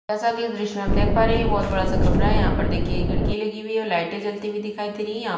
जैसा की इस दृश्य में हं देख पा रहै है ये बहोत बड़ा सा कमरा है यहाँ पर देखिए खिड़की लगी हुई है और लाइटे जलती हुई दिखाई दे रही है यहाँ --